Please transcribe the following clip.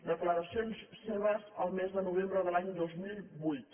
declaracions seves el mes de novembre de l’any dos mil vuit